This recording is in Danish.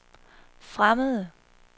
fremmede